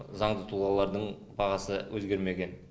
заңды тұлғалардың бағасы өзгермеген